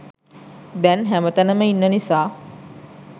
දැන් හැමතැනම ඉන්න නිසා.